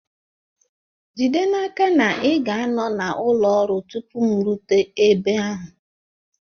Jide n'aka na ị ga-anọ na ụlọ ọrụ tupu m erute ebe ahụ!